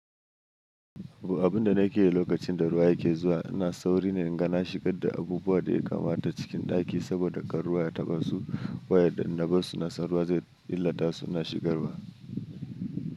Abun da na ke yi lokacin da ruwa yake zuwa, ina sauri na inga na shigar da abubuwa da ya kamata cikin ɗaki saboda kar ruwa ya taɓa su, wayanda in na bar su na san ruwa zai illata su na shigarwa.